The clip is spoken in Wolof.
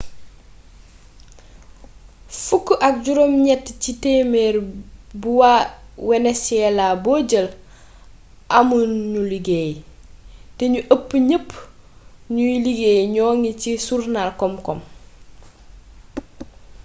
fukk ak juróom ñett ci téeméer bu waa wenesyelaa bo jël amu ñu liggéey té ñu ëpp ñëp ñuuy liggéey ñoŋi ci surnal kom-kom